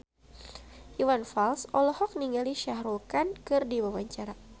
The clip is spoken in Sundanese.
Iwan Fals olohok ningali Shah Rukh Khan keur diwawancara